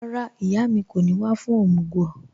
Rárá, ìyà mi kò ní wà fún omúg